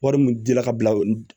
Wari mun di la ka bila